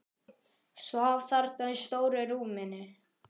Svaf þarna í stóru rúminu.